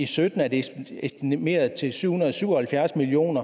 sytten er det estimeret til syv hundrede og syv og halvfjerds million